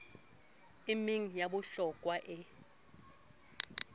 e meng ya bohlokwa e